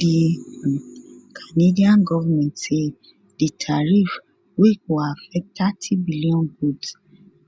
di um canadian goment say di tariff wey go affect thirty billion goods